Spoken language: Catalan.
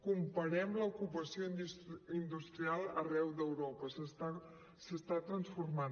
comparem l’ocupació industrial arreu d’europa s’està transformant